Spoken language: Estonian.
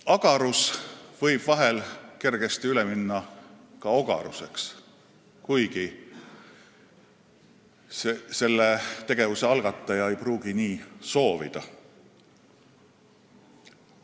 Agarus võib kergesti üle minna ka ogaruseks, kuigi tegevuse algataja ei pruugi nii soovida.